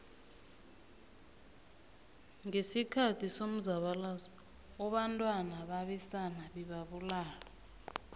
ngesikhathi somzabalazo obantwana babesana bebabulawa